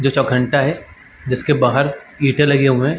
जो चोखंटा है जिसके बाहर ईंटे लगे हुए हैं।